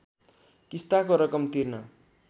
किस्ताको रकम तिर्न